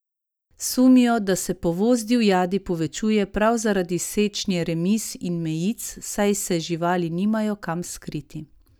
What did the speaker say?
Sumijo, da se povoz divjadi povečuje prav zaradi sečnje remiz in mejic, saj se živali nimajo kam skriti.